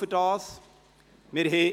Ich danke Ihnen dafür.